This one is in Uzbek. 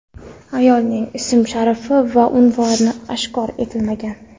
Ayolning ismi-sharifi va unvoni oshkor etilmagan.